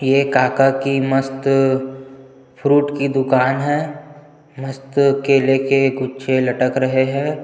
ये काका की मस्त फ्रूट की दुकान है मस्त केले के गुछे लटक रहै है।